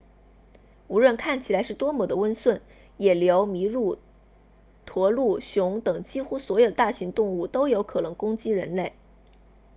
无论看起来是多么的温顺野牛麋鹿驼鹿熊等几乎所有的大型动物都有可能攻击人类